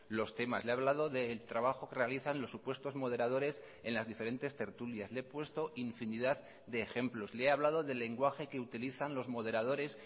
los temas le he hablado del trabajo que realizan los supuestos moderadores en las diferentes tertulias le he puesto infinidad de ejemplos le he hablado del lenguaje que utilizan los moderadores